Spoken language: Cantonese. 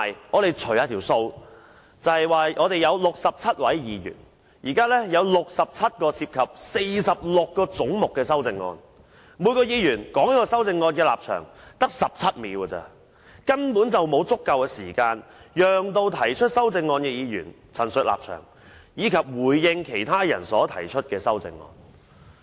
我們曾稍作計算，立法會共有67位議員，今次要審議67項涉及46個總目的修正案，每一位議員只有17秒的時間就每項修正案表達其立場，根本不足以讓提出修正案的議員作出陳述，以及回應其他人所提出的修正案。